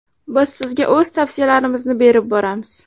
Biz sizga o‘z tavsiyalarimizni berib boramiz!